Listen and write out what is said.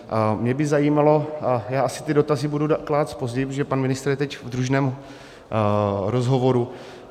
Mě by zajímalo - já asi ty dotazy budu klást později, protože pan ministr je teď v družném rozhovoru.